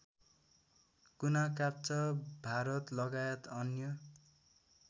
कुनाकाप्चा भारतलगायत अन्य